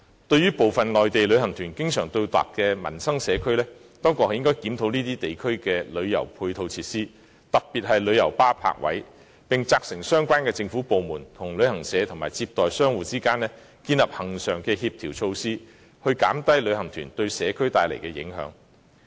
對於部分內地旅行團經常到達的民生社區，當局應檢討這些地區的旅遊配套設施，特別是旅遊巴士泊位，並責成相關政府部門與旅行社及接待商戶之間建立恆常的協調措施，減低旅行團對社區帶來的影響。